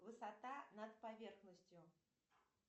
высота над поверхностью